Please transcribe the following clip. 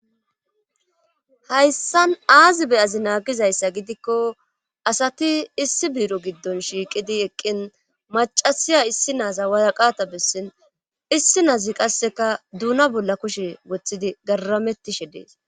Hayssan aazi beyazinaa gizayssa gidikko asati issi biiro giddon shiiqidi eqqin macasiya issi naaza waaqata bessin issi naazi qasseka duuna bolla kushe woththidi garamettishe dees.